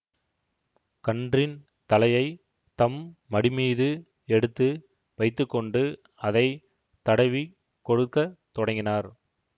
கன்றின் தலையை தம் மடிமீது எடுத்து வைத்து கொண்டு அதை தடவிக் கொடுக்க தொடங்கினார்